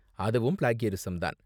அதுவும் ப்ளேக்யரிஸம் தான்.